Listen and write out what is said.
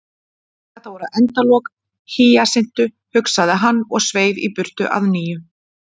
Þetta voru endalok Hýjasintu, hugsaði hann, og sveif í burtu að nýju.